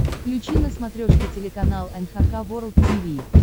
включи на смотрешке телеканал эн эйч кей волд ти ви